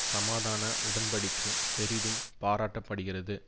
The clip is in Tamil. சமாதான உடன் படிக்கை பெரிதும் பாராட்டப்படுகிறது